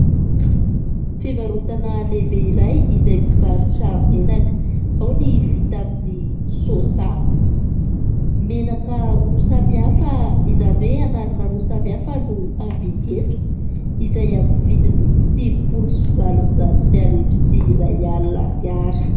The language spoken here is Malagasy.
Fivarotana lehibe iray izay mivarotra menaka. Ao ny vita amin'ny soja. Menaka roa samihafa, izany hoe anarana roa samy hafa no hamidy eto izay amin'ny vidiny sivy folo sy valonjato sy arivo sy iray alina ariary.